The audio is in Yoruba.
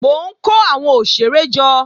Mò ń kó àwọn òṣèré jọ